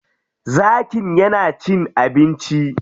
Zakin ya na cin abinci.